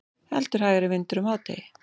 Heldur hægari vindur um hádegi